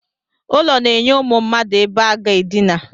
Ụlọ na-enye ụmụ mmadụ ebe aga edina